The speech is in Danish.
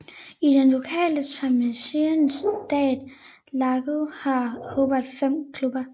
I den lokale Tasmanian State League har Hobart fem klubber